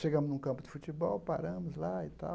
Chegamos num campo de futebol, paramos lá e tal.